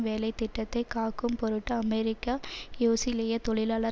வேலை திட்டத்தை காக்கும்பொருட்டு அமெரிக்க யோசிலிய தொழிலாளர்